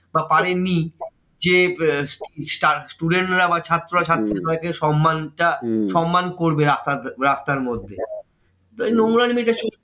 বা পারেন নি যে student রা বা ছাত্ররা ছাত্রীরা তাদেরকে সন্মান টা সন্মান করবে রাস্তার মধ্যে। তা এই নোংরা জিনিসটা